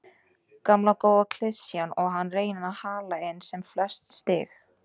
Gamla góða klisjan og að reyna að hala inn sem flest stig.